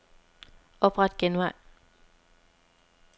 Opret genvej.